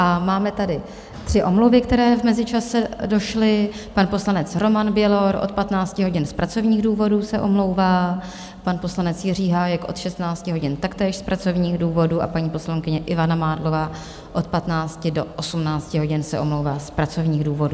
A máme tady tři omluvy, které v mezičase došly - pan poslanec Roman Bělor od 15 hodin z pracovních důvodů se omlouvá, pan poslanec Jiří Hájek od 16 hodin taktéž z pracovních důvodů a paní poslankyně Ivana Mádlová od 15 do 18 hodin se omlouvá z pracovních důvodů.